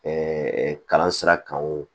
kalan sira kan o